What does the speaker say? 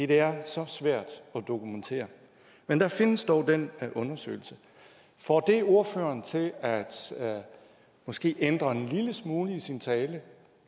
det er så svært at dokumentere men der findes dog den undersøgelse får det ordføreren til måske at ændre en lille smule i sin tale